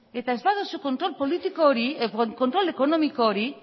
eta ez baduzu kontrol ekonomiko hori